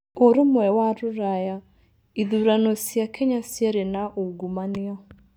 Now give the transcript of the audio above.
Ũrũmwe wa Rũraya: Ithurano cia Kenya ciari na ungumania